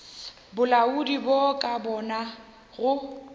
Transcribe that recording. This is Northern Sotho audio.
bolaodi bo ka bona go